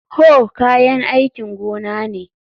Hoe kayan aikin gona ne